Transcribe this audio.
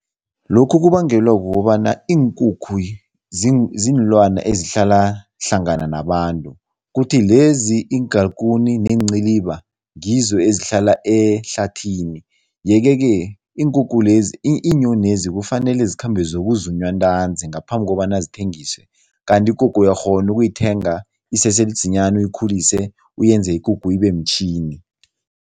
Lokhu kubangelwa kukobana iinkukhu ziinlwana ezihlala hlangana nabantu kuthi lezi iingalikuni neenciliba ngizo ezihlala ehlathini yeke-ke iinkukhu lezi, iinyonezi kufanele zikhambe zokuzunywa ntanzi ngaphambi kobana zithengiswe kanti ikukhu uyakghona ukuyithenga isese lidzinyani, uyikhulise uyenze ikukhu ibemtjhini.